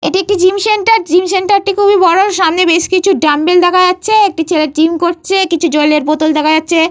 এটি একটি gym centre. Gym centre - টি খুবই বড়। সামনে বেশ কিছু ডাম্বেল দেখা যাচ্ছে। একটি ছেলে জিম করছে। কিছু জলের বোতল দেখা যাচ্ছে।